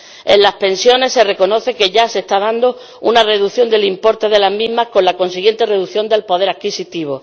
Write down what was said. en las pensiones se reconoce que ya se está dando una reducción del importe de las mismas con la consiguiente reducción del poder adquisitivo.